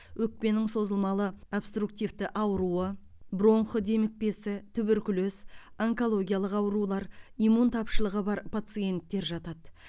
өкпенің созылмалы обструктивті ауруы бронх демікпесі туберкулез онкологиялық аурулар иммун тапшылығы бар пациенттер жатады